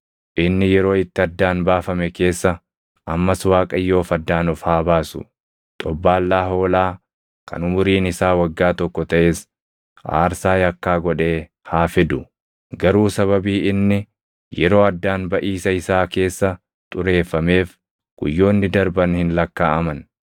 Inni yeroo itti addaan baafame keessa ammas Waaqayyoof addaan of haa baasu; xobbaallaa hoolaa kan umuriin isaa waggaa tokko taʼes aarsaa yakkaa godhee haa fidu. Garuu sababii inni yeroo addaan baʼiisa isaa keessa xureeffameef guyyoonni darban hin lakkaaʼaman.